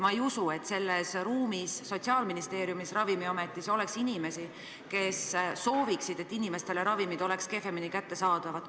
Ma ei usu, et selles saalis ja Sotsiaalministeeriumis ning Ravimiametis on inimesi, kes soovivad, et ravimid oleksid inimestele kehvemini kättesaadavad.